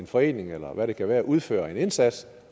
forening eller hvad det kan være udfører en indsats